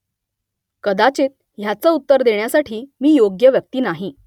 कदाचित ह्याचं उत्तर देण्यासाठी मी योग्य व्यक्ती नाही